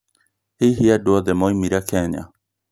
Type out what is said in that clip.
hihi andũ othe maũmirĩ Kenya?